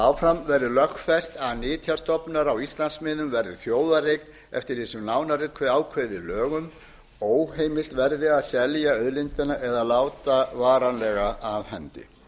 áfram verði lögfest að nytjastofnar á íslandsmiðum verði þjóðareign eftir því sem nánar er ákveðið í lögum og óheimilt verði að selja auðlindina eða láta varanlega af hendi